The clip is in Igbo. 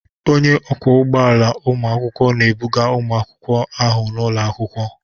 Onye ọkwọ ụgbọ ala ụlọ akwụkwọ na-ebuga ụmụ akwụkwọ ahụ n'ụlọ akwụkwọ.